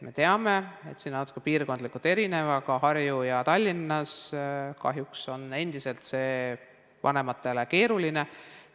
Me teame, et see on natuke piirkondlikult erinev, aga Harjumaal ja Tallinnas on endiselt see vanematele keeruline.